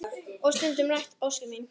Og stundum rætist ósk mín.